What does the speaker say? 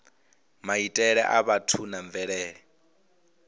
maitele a vhathu na mvelele